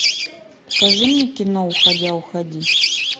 покажи мне кино уходя уходи